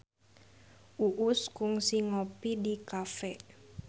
Uus kungsi ngopi di cafe